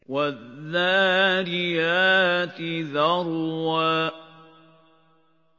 وَالذَّارِيَاتِ ذَرْوًا